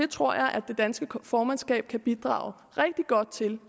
tror at det danske formandskab kan bidrage rigtig godt til